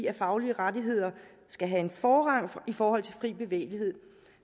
at faglige rettigheder skal have forrang for fri bevægelighed